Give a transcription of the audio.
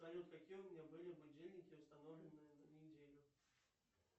салют какие у меня были будильники установлены на неделю